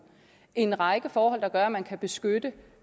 en række forhold der gør at man kan beskytte